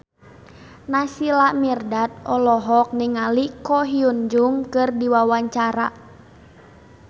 Naysila Mirdad olohok ningali Ko Hyun Jung keur diwawancara